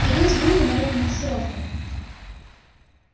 ходил с группой на рекогносцировку